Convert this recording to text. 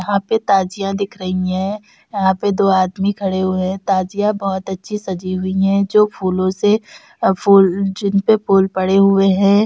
यहाँ पे ताजिया दिख रही हैं। यहाँ पे दो आदमी खड़े हुए हैं। ताजिया बहोत अच्छे से सजी हुई है जो फूलों से अ फुल जिनपे फुल पड़े हुए हैं।